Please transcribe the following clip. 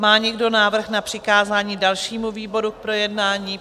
Má někdo návrh na přikázání dalšímu výboru k projednání?